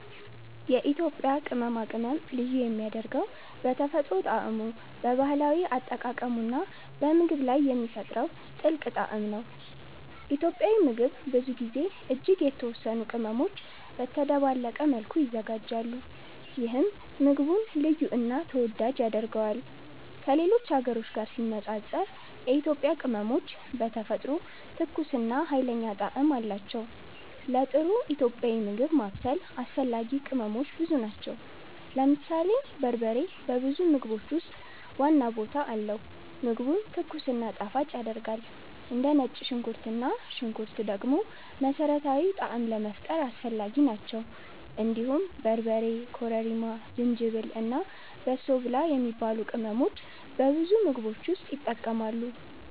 የኢትዮጵያ ቅመማ ቅመም ልዩ የሚያደርገው በተፈጥሮ ጣዕሙ፣ በባህላዊ አጠቃቀሙ እና በምግብ ላይ የሚፈጥረው ጥልቅ ጣዕም ነው። ኢትዮጵያዊ ምግብ ብዙ ጊዜ እጅግ የተወሰኑ ቅመሞች በተደባለቀ መልኩ ይዘጋጃሉ፣ ይህም ምግቡን ልዩ እና ተወዳጅ ያደርገዋል። ከሌሎች ሀገሮች ጋር ሲነጻጸር የኢትዮጵያ ቅመሞች በተፈጥሮ ትኩስ እና ኃይለኛ ጣዕም አላቸው። ለጥሩ ኢትዮጵያዊ ምግብ ማብሰል አስፈላጊ ቅመሞች ብዙ ናቸው። ለምሳሌ በርበሬ በብዙ ምግቦች ውስጥ ዋና ቦታ አለው፣ ምግቡን ትኩስ እና ጣፋጭ ያደርጋል። እንደ ነጭ ሽንኩርት እና ሽንኩርት ደግሞ መሠረታዊ ጣዕም ለመፍጠር አስፈላጊ ናቸው። እንዲሁም በርበሬ፣ ኮረሪማ፣ ዝንጅብል እና በሶ ብላ የሚባሉ ቅመሞች በብዙ ምግቦች ውስጥ ይጠቀማሉ።